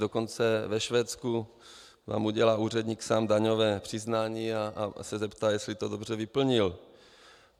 Dokonce ve Švédsku vám udělá úředník sám daňové přiznání a zeptá se, jestli to dobře vyplnil.